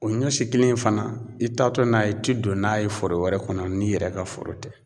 O ɲɔ si kelen fana i taatɔ n'a ye i ti don n'a ye foro wɛrɛ kɔnɔ n'i yɛrɛ ka foro tɛ.